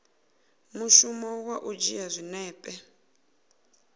mushumo wa u dzhia zwinepe